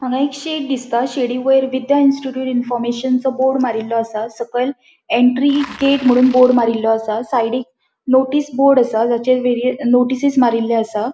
हांगा एक शेड दिसता शेड़ी वयर विद्या इंस्टिट्यूट इन्फॉर्मशन बोर्ड मारीलों असा सकयल एंट्री गेट मून बोर्ड मारीलों असा साइडिक नोटिस बोर्ड असा तचेर वे नोटिसीस मारीले असा.